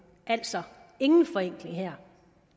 altså ingen forenkling her